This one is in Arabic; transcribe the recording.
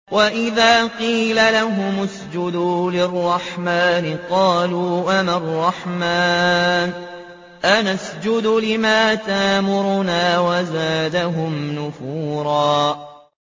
وَإِذَا قِيلَ لَهُمُ اسْجُدُوا لِلرَّحْمَٰنِ قَالُوا وَمَا الرَّحْمَٰنُ أَنَسْجُدُ لِمَا تَأْمُرُنَا وَزَادَهُمْ نُفُورًا ۩